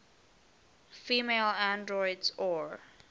female androids or